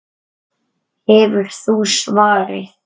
Hefur þú svarið?